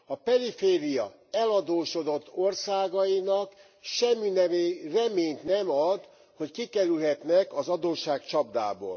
A periféria eladósodott országainak semminemű reményt nem ad, hogy kikerülhetnek az adósságcsapdából.